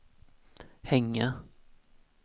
hänga